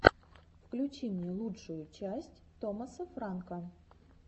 включи мне лучшую часть томаса франка